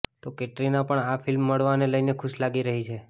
તો કેટરીના પણ આ ફિલ્મ મળવાને લઈને ખુશ લાગી રહી છે